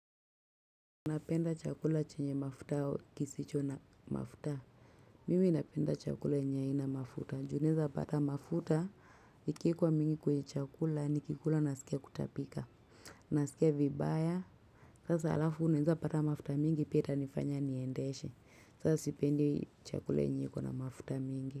Napenda chakula chenye mafuta au kisicho na mafuta? Mimi napenda chakula yenye haina mafuta juu unaweza pata mafuta. Iki wekwa mingi kwenye chakula, nikikula nasikia kutapika. Nasikia vibaya. Sasa alafu unaweza pata mafuta mingi pia itanifanya niendeshe. Sasa sipendi chakula yenye iko na mafuta mingi.